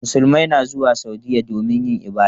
Musulmai na zuwa Saudiyya domin yin ibada.